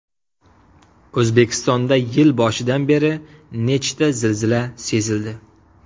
O‘zbekistonda yil boshidan beri nechta zilzila sezildi?.